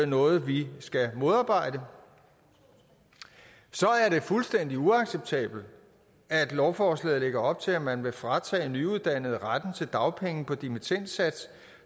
noget vi skal modarbejde så er det fuldstændig uacceptabelt at lovforslaget lægger op til at man vil fratage nyuddannede retten til dagpenge på dimittendsats